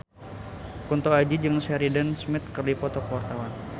Kunto Aji jeung Sheridan Smith keur dipoto ku wartawan